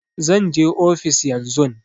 Zan je ofis yan zun